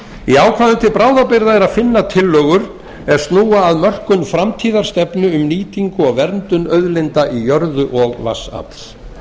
í ákvæðum til bráðabirgða er að finna tillögur er snúa að mörkun framtíðarstefnu um nýtingu og verndun auðlinda í jörðu og vatnsafls þar